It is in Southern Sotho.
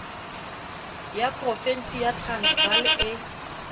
ya profensi ya transvaal e